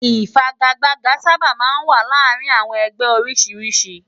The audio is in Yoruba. Ifàgágbàgá sàbá má n wá làárin áwòn ègbè ôrìsírìsí